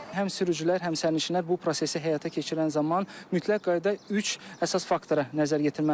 Həm sürücülər, həm sərnişinlər bu prosesi həyata keçirən zaman mütləq qaydada üç əsas faktora nəzər yetirməlidirlər.